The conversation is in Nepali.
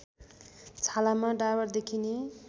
छालामा डाबर देखिने